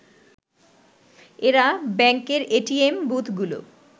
এরা ব্যাংকের এটিএম বুথগুলো